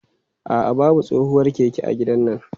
A'a, babu tsohuwar keke a gidannan.